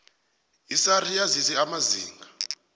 isars yazise amazinga